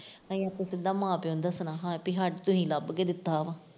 ਨਹੀਂ ਆਪੇ ਸਿੱਧਾ ਮਾਂ ਪਿਓ ਨੂੰ ਦੱਸਣਾ ਹਾਂ ਵੀ ਹਾਂ ਤੁਸੀਂ ਲੱਭ ਕੇ ਦਿੱਤਾ ਵਾ।